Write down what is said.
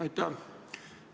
Aitäh!